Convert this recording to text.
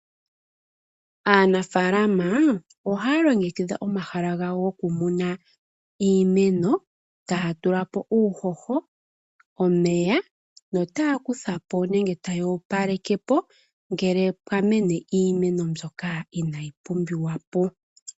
Aanafalama ohaya longekidha omahala gawo gokumuna iimeno, taya tulapo uuhoho, omeyaa, notaya kuthapo nenge taya opalekepo, ngele pwa mene iimeno mbyoka inayi pumbiwa po.